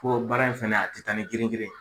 Po baara in fana a tɛ taa nin girin